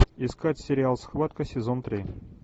искать сериал схватка сезон три